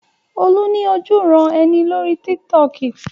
Olú ní ojúuran-ẹni lórí Tiktok.